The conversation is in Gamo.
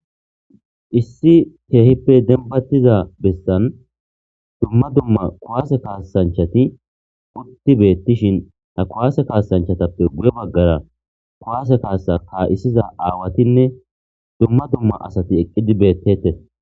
issi keehippe denbattiza bessan dumma dumma kowaase kaasanchati utti beettishin ta kowaase kaasanchatappe guye baggara kowaase kaasa ka7isiza aawatinne dumma dumma asati eqqidi beettetes